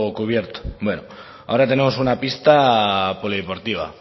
cubierto bueno ahora tenemos una pista polideportiva